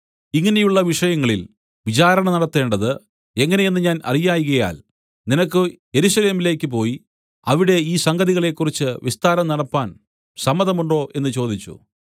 ഇങ്ങനെയുള്ള വിഷയങ്ങളിൽ വിചാരണ നടത്തേണ്ടത് എങ്ങനെയെന്ന് ഞാൻ അറിയായ്കയാൽ നിനക്ക് യെരൂശലേമിലേക്കു പോയി അവിടെ ഈ സംഗതികളെക്കുറിച്ച് വിസ്താരം നടപ്പാൻ സമ്മതമുണ്ടോ എന്നു ചോദിച്ചു